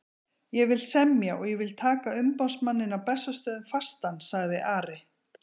Ég vil semja og ég vil taka umboðsmanninn á Bessastöðum fastan, sagði Ari.